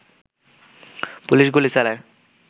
police গুলি চালায়